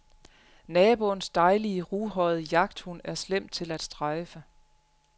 Naboens dejlige ruhårede jagthund er slem til at strejfe.